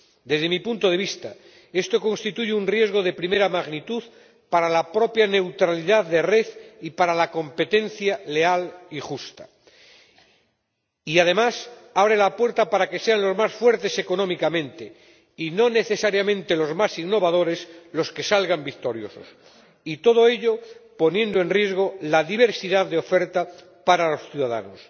Desde mi punto de vista, esto constituye un riesgo de primera magnitud para la propia neutralidad de la red y para la competencia leal y justa y, además, abre la puerta para que sean los más fuertes económicamente ―y no necesariamente los más innovadores― los que salgan victoriosos, y todo ello poniendo en riesgo la diversidad de la oferta para los ciudadanos.